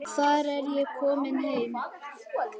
Þar er ég komin heim.